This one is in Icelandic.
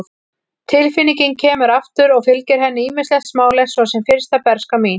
Tilfinningin kemur aftur og fylgir henni ýmislegt smálegt, svo sem fyrsta bernska mín.